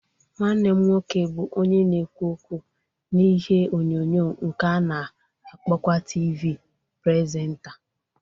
Nwannem nwoke bu onye na-ekwu okwu n'ihe onyonyo nke a na-akpokwa Tivi presenta